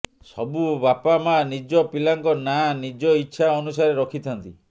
ସବୁ ବାପା ମା ନିଜ ପିଲାଙ୍କ ନାଁ ନିଜ ଇଚ୍ଛା ଅନୁସାରେ ରଖିଥାନ୍ତି